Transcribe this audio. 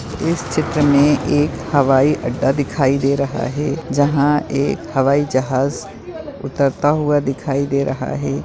इस चित्र में एक हवाई अड्डा दिखाई दे रहा है जहा एक हवाई जहाज उतरता हुआ दिखाई दे रहा है।